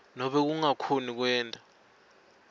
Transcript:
nobe kungakhoni kwenta